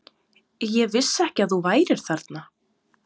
Ég vissi ekki að þú værir þarna.